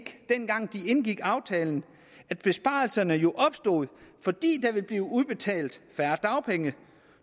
dengang de indgik aftalen at besparelserne jo opstod fordi der ville blive udbetalt færre dagpenge